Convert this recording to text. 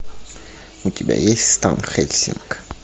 у тебя есть стан хельсинг